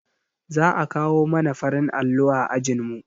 Za a kawo mana farin allo a ajinmu